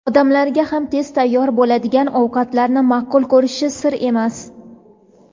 Odamlar ham tez tayyor bo‘ladigan ovqatlarni ma’qul ko‘rishi sir emas.